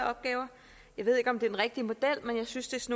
opgaver jeg ved ikke om den rigtige model men jeg synes